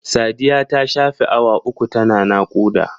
Sadiya ta shafe awa uku ta na naƙuda.